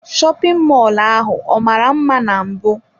Shopin mọlụ ahụ ọ mara mma na mbụ?